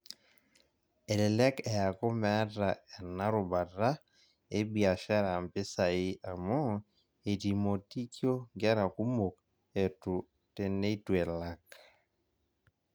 Elelek eaku meeta ena rubata ebiashara mpisai amu etimotikio nkera kumok etu teneituelak.